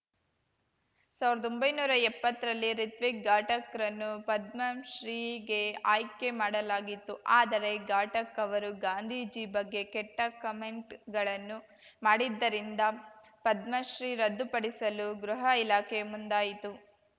ಸಾವ್ರ್ದೊಂಬೈನೂರಾ ಎಪ್ಪತ್ತರಲ್ಲಿ ರಿತ್ವಿಕ್‌ ಘಾಟಕ್‌ರನ್ನು ಪದ್ಮಶ್ರೀಗೆ ಆಯ್ಕೆ ಮಾಡಲಾಗಿತ್ತು ಆದರೆ ಘಾಟಕ್‌ ಅವರು ಗಾಂಧೀಜಿ ಬಗ್ಗೆ ಕೆಟ್ಟಕಮೆಂಟ್‌ಗಳನ್ನು ಮಾಡಿದ್ದರಿಂದ ಪದ್ಮಶ್ರೀ ರದ್ದುಪಡಿಸಲು ಗೃಹ ಇಲಾಖೆ ಮುಂದಾಯಿತು